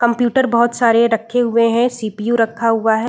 Computer बहुत सारे रखे हुए हैं सी.पी.यु. रखा हुआ है।